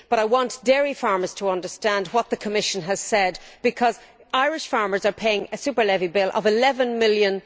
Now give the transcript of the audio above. I want dairy farmers to understand what the Commission has said, because Irish farmers are paying a super levy bill of EUR 11 million.